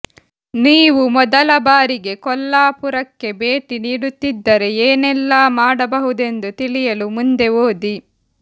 ನೀವು ಮೊದಲ ಬಾರಿಗೆ ಕೊಲ್ಲಾಪುರಕ್ಕೆ ಭೇಟಿ ನೀಡುತ್ತಿದ್ದರೆ ಏನೆಲ್ಲಾ ಮಾಡಬಹುದೆಂದು ತಿಳಿಯಲು ಮುಂದೆ ಓದಿ